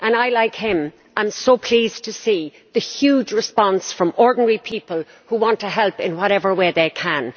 And I, like him, am pleased to see the huge response from ordinary people who want to help in whatever way they can.